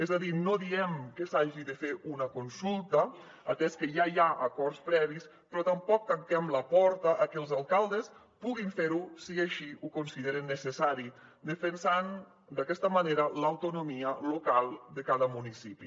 és a dir no diem que s’hagi de fer una consulta atès que ja hi ha acords previs però tampoc tanquem la porta a que els alcaldes puguin fer ho si així ho consideren necessari defensant d’aquesta manera l’autonomia local de cada municipi